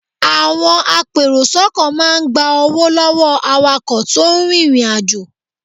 Àwọn apèròsọ́kọ̀ máa ń gba owó lọ́wọ́ awakọ̀ tó ń rìnrìnàjò.